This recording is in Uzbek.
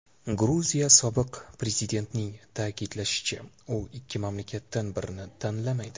Gruziya sobiq prezidentining ta’kidlashicha, u ikki mamlakatdan birini tanlamaydi.